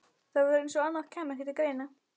Það var eins og annað kæmi ekki til greina.